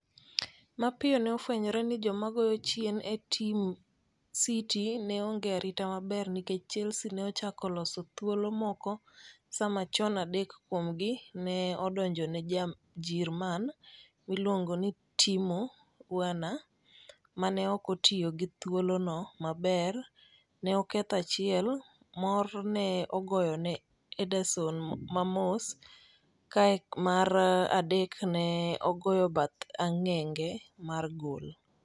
Mapiyo ne ofwenyore ni joma goyo chien e tim City ne onge arit maber nikech Chelsea ne ochako loso thuolo moko saa machon, adek kuomgi ne odonjo ne Ja-Jirman miluongo ni Timo Werner ma ne ok otiyo gi thuolono maber - ne oketho achiel, mor ne ogoyo ne Ederson mamos, kae mar adek ne ogoyo bath ang'enge mar goal.